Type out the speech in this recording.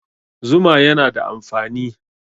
Zuma yana da amfani